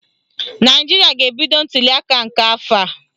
Naijiria ga-ebido ntuliaka nke afọ a.